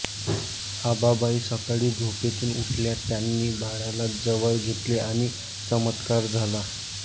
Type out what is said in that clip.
आबाबाई सकाळी झोपेतून उठल्या त्यांनी बाळाला जवळ घेतले आणि चमत्कार झाला